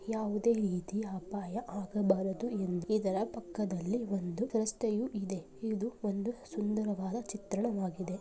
ಯಾವುದೇ ರೀತಿ ಅಪಾಯ ಆಗಬಾರದು ಎಂದು ಇದರ ಪಕ್ಕದಲ್ಲಿ ಒಂದು ರಸ್ತೆಯು ಇದೆ ಇದು ಸುಂದರವಾದ ಚಿತ್ರಣವಾಗಿದೆ.